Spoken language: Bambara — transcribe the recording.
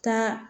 Taa